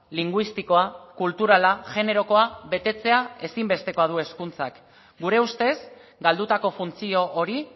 linguistikoa kulturala generokoa betetzea ezinbestekoa du hezkuntzak gure ustez galdutako funtzio hori